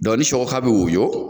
ni sɔ ka bɛ woyɔ,